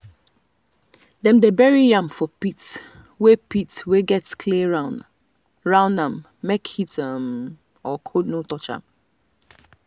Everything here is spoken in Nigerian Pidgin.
dem dey bury yam for pit wey pit wey get clay round am make heat um or cold no touch am.